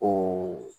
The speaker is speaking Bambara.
O